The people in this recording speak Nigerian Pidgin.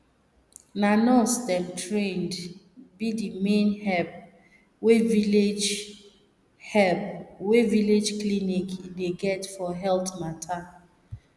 na nurse dem trained be the main help wey village help wey village clinic dey get for health matter